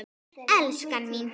Elskan mín.